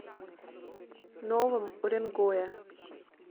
новом уренгое